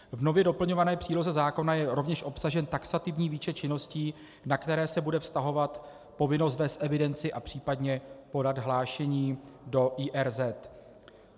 V nově doplňované příloze zákona je rovněž obsažen taxativní výčet činností, na které se bude vztahovat povinnost vést evidenci a případně podat hlášení o IRZ.